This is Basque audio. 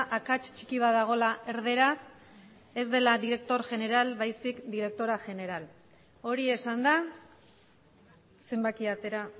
akats txiki bat dagoela erdaraz ez da director general baizik eta directora general hori esanda zenbakia atera